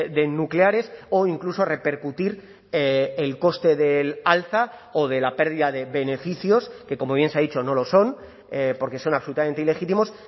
de nucleares o incluso repercutir el coste del alza o de la pérdida de beneficios que como bien se ha dicho no lo son porque son absolutamente ilegítimos